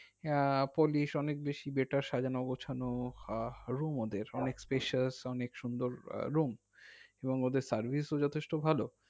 আহ polish অনেক বেশি যেটা সাজানো গোছানো আহ room ওদের অনেক special অনেক সুন্দর এবং ওদের service ও যথেষ্ট ভালো